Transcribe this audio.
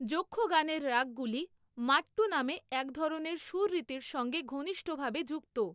যক্ষগানের রাগগুলি মাট্টু নামে একধরনের সুররীতির সঙ্গে ঘনিষ্ঠভাবে যুক্ত।